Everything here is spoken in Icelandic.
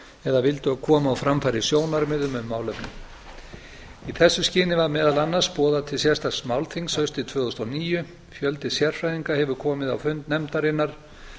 eða vildu koma framfæri sjónarmiðum um málefnið í þessu skyni var meðal annars boðað til sérstaks málþings haustið tvö þúsund og níu fjöldi sérfræðinga hefur komið á fund nefndarinnar